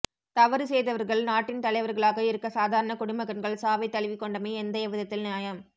தவறு செய்தவர்கள் நாட்டின் தலைவர்களாக இருக்க சாதாரண குடிமகன்கள் சாவை தழுவிக்கொண்டமை எந்த எவ்விதத்தில் நியாயம்